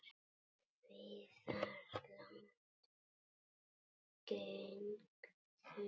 Viðar leggst gegn því.